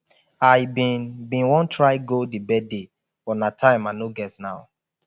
i bin bin wan try go the birthday but na time i no get now